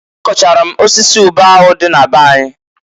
A kọchalụ m osisi ube ahụ dị na be anyị.